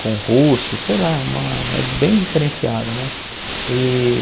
com russo, sei lá, é uma é bem diferenciado, né?